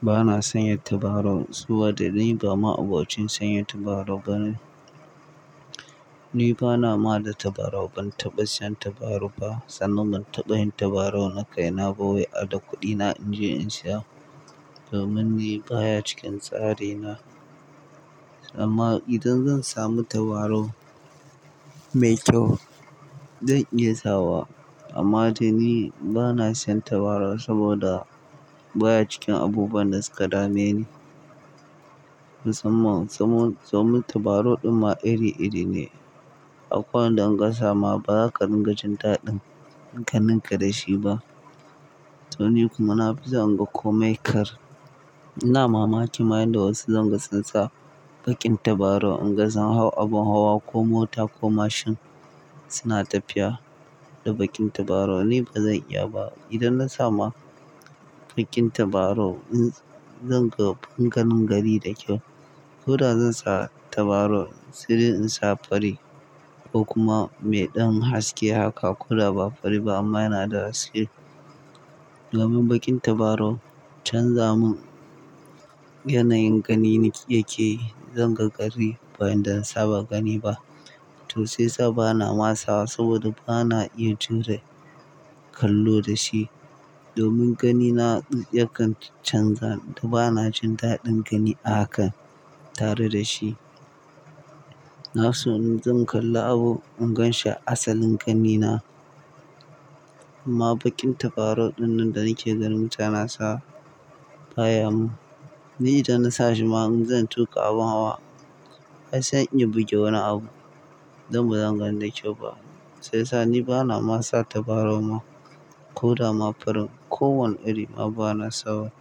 Bana sanya tabarau, saboda ni ba ma'abocin sanya tabarau bane. Ni bana ma da tabarau, ban taɓa siyan tabaru ba, sannan ban taɓa yin tabarau na kaina ba wai da kuɗina in je in siya. Domin ni baya cikin tsari na. Amma idan zan samu tabarau mai kyau, zan iya sawa. Amma dai ni bana siyan tabarau saboda baya cikin abubuwan da suka dameni. Musamman sabon, sabon tabarau ɗin ma iri iri ne. Akwai wanda in ka sama ba za ka dinga jin daɗin in ka ninka da shi ba. To ni kuma na fi san ina komai kar. Ina mamaki ma yanda wasu zanga sun sa baƙin tabarau in gasun hau abin hawa ko mota ko mashin suna tafiya da baƙin tabarau, ni ba zan iya ba. Idan na samu baƙin tabarau, zan ga fankanin gari da kyau. Ko da zan sa tabarau, sai dai in sa fari ko kuma me ɗan haske haka ko da ba fari ba amma yana da haske. Domin baƙin tabarau canza mun yanayin gani yake yi, zan ga ƙari ba inda in saba gani ba. To sai sa bana ma sawa saboda bana iya jure kallo da shi. Domin gani na yakan canza da bana jin daɗin gani a haka tare da shi. Na so in zan kalla abu, in gan shi asalin gani na. Amma baƙin tabarau dinnan da nake ganin ta nasa bayan, ni da na sashi ma zan tuka abin hawa. Ai sai in iya buge wani abu, dan bazan gani da kyau ba. Shiyasa ni bana ma sa tabarau ma ko da ma farin. Ko wani iri ma bana sawa.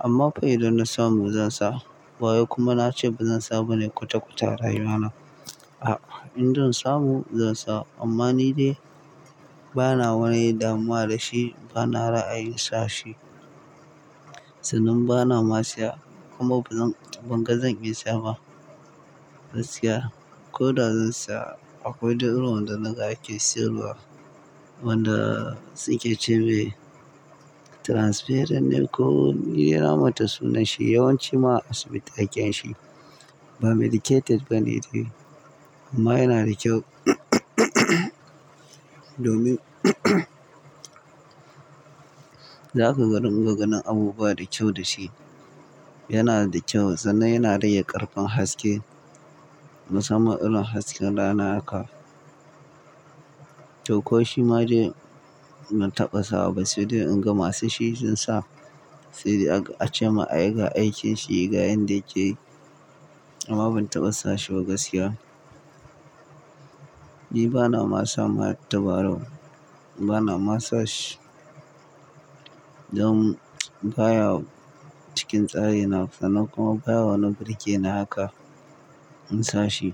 Amma fa dai idan na samu zan sa. Bawai kuma na ce ba zan saba ne kwatakwata a rayuwa na. A'a, in zan samu zan sa. Amma ni dai bana wani damuwa da shi, bana ra'ayin sashi. Sannan bana ma siya kuma ba zan, ban ga zan iya siya ba gaskiya. Ko da zan siya, akwai ɗin irin wanda na gake siyarwa, wanda sunke ce me transparent ne ko ni na manta sunan shi, yawanci ma a asibiti ake yinshi. Ba medicated bane dai. Amma yana da kyau domin za ka ganin gaganin abubuwa dakyau da shi. Yana da kyau sannan yana rage ƙarfin haske. Musamman irin hasken rana haka. To ko shi ma dai ban taɓa sawa ba sai dai in ga masu shi sun sa, sai dai aka, ace ma ayi ga aikin shi ga yanda yake yi. Amma ban taɓa sashi ba gaskiya. Ni bana ma sa ma tabarau. Bana ma sashi. Don baya cikin tsari na sannan kuma baya wani birgeni haka in sa shi.